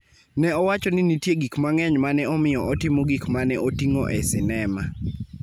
ne owacho ni nitie gik mang'eny ma ne omiyo otimo gik ma ne oting�o e sinema.